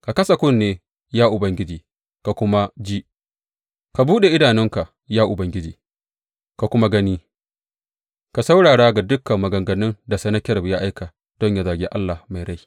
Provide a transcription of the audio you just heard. Ka kasa kunne, ya Ubangiji, ka kuma ji; ka buɗe idanunka, ya Ubangiji, ka kuma gani; ka saurara ga dukan maganganun da Sennakerib ya aika don yă zagi Allah mai rai.